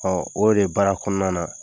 o de baara kɔnɔna na.